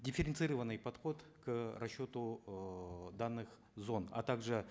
дифференцированный подход к расчету эээ данных зон а также